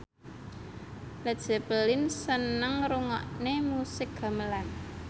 Led Zeppelin seneng ngrungokne musik gamelan